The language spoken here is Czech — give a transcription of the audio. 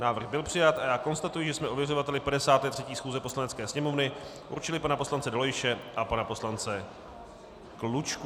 Návrh byl přijat a já konstatuji, že jsme ověřovateli 53. schůze Poslanecké sněmovny určili pana poslance Dolejše a pana poslance Klučku.